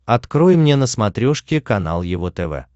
открой мне на смотрешке канал его тв